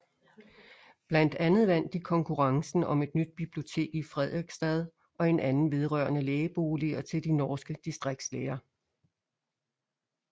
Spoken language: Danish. Blandt andet vandt de konkurrencen om et nyt bibliotek i Fredrikstad og en anden vedrørende lægeboliger til de norske distriktslæger